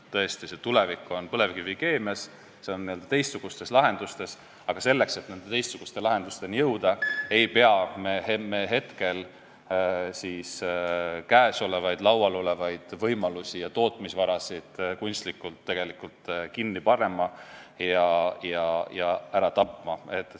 Tõesti, tulevik on põlevkivikeemias, n-ö teistsugustes lahendustes, aga selleks, et nende teistsuguste lahendusteni jõuda, ei pea me olemasolevaid võimalusi ja tootmisvarasid kunstlikult kinni panema ja ära tapma.